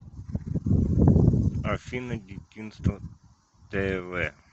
афина дитинство тэ вэ